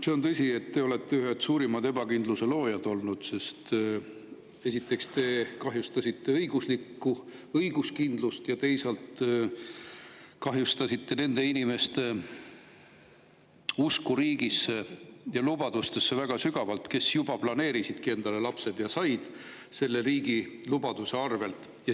See on tõsi, et te olete olnud ühed suurimad ebakindluse loojad, sest esiteks te kahjustasite õiguskindlust ja teiseks kahjustasite väga sügavalt nende inimeste usku riigisse ja lubadustesse, kes juba planeerisid ja saidki endale lapsed selle riigi lubaduse põhjal.